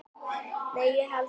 """Nei, ég held ekki."""